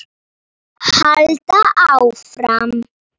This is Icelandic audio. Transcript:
Svo fór hann að snökta.